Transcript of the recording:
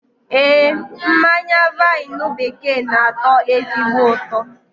Ee, mmanya vaịnụ bekee n'atọ ezigbo ụtọ